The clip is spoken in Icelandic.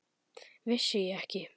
Vissi ég ekki!